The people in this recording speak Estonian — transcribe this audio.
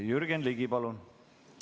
Jürgen Ligi, palun!